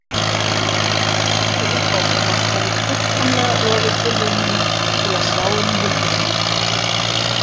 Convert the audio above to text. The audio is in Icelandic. Þessi uppákoma hefur fullkomlega rofið tilraun mína til að sjá inn í hulduheima.